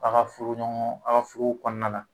A ka furu ɲɔgɔn, a ka furu kɔnɔna na.